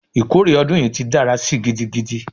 Ikore odun yi ti dara si gidigidi!